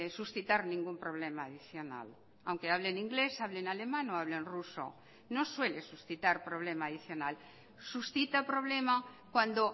suscitar ningún problema adicional aunque hable en inglés hable en alemán o hable en ruso no suele suscitar problema adicional suscita problema cuando